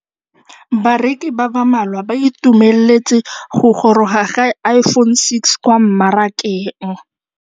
Bareki ba ba malwa ba ituemeletse go gôrôga ga Iphone6 kwa mmarakeng.